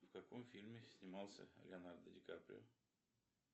в каком фильме снимался леонардо ди каприо